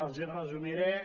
els hi resumiré